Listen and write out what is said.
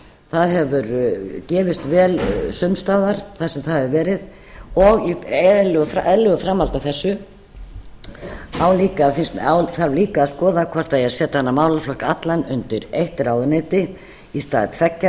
það hefur gefist vel sums staðar þar sem það hefur verið í eðlilegu framhaldi af þessu þarf líka að skoða hvort það eigi að setja þennan málaflokk allan undir eitt ráðuneyti í stað tveggja eins og